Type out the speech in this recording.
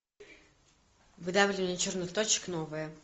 выдавливание черных точек новое